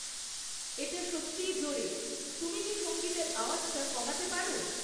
এটা সত্যিই জোরে, তুমি কি সঙ্গীতের আওয়াজটা কমাতে পারো?